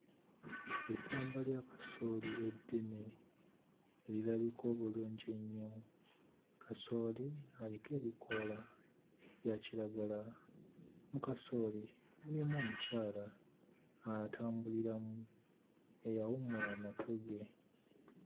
Essamba lya kasooli eddene erirabika obulungi ennyo. Kasooli aliko ebikoola bya kiragala. Mu kasooli mulimu omukyala atambuliramu eyawummula amatu ge.